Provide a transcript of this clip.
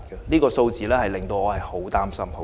這些數字令我非常擔心。